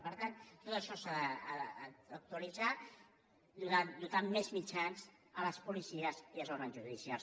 per tant tot això s’ha d’actualitzar i dotar de més mitjans les policies i els òrgans judicials